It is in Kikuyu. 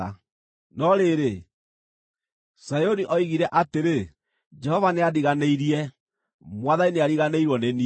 No rĩrĩ, Zayuni oigire atĩrĩ, “Jehova nĩandiganĩirie, Mwathani nĩariganĩirwo nĩ niĩ.”